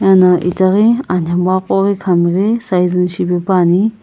eno itaghi anhmegha qo ghi khamighi sizing shipepuani.